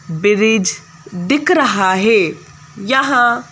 bridge दिख रहा है यहां--